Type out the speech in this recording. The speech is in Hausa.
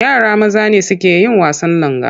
Yara maza ne suke yin wasan langa.